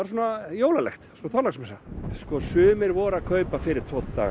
jólalegt svona Þorláksmessa sumir voru að kaupa fyrir tvo daga